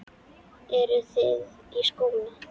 Eru þið í skóla?